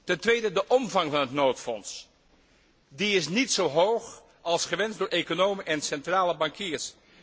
Ten tweede de omvang van het noodfonds. Die is niet zo hoog als gewenst door economen en centrale bankiers.